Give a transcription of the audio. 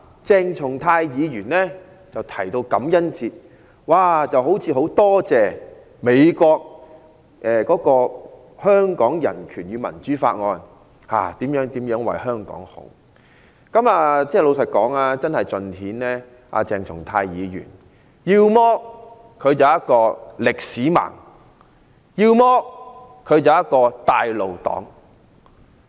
鄭松泰議員提到感恩節，好像很感謝美國通過《香港人權與民主法案》如何為香港好，老實說，真的盡顯鄭松泰議員要麼是一名"歷史盲"，要麼是一名"帶路黨"。